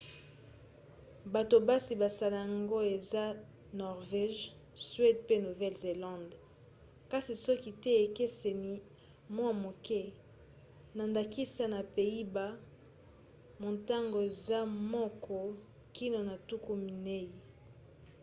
bato basi basala yango eza norvège suède pe nouvelle-zélande kasi soki te ekeseni mwa moke na ndakisa na pays-bas motango eza moko kino na tuku minei